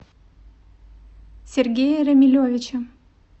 сергея рамилевича